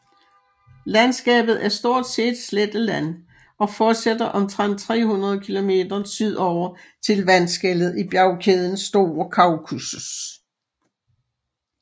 Landskabet er stort set sletteland og fortsætter omtrent 300 kilometer sydover til vandskellet i bjergkæden Store Kaukasus